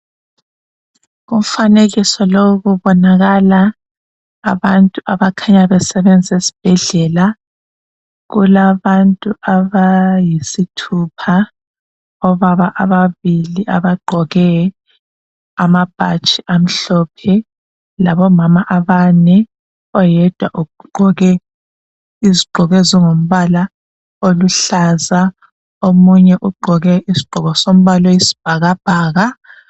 Umfanekiso lowu kubonakala abantu abakhanya besebenza esibhedlela. Kulabantu abayisithupha, obaba ababili abagqoke amabhatshi amhlophe labomama abane oyedwa ugqoke izigqoko ezingumbala oluhlaza, omunye ugqoke isigqoko sombala oyisibhakabhaka